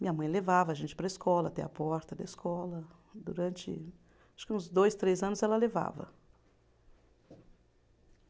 Minha mãe levava a gente para a escola, até a porta da escola, durante acho que uns dois, três anos ela levava.